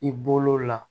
I bolo la